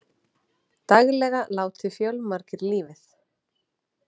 Daglega láti fjölmargir lífið